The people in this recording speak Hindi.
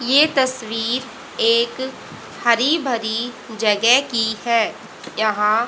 ये तस्वीर एक हरी भरी जगे की है यहां--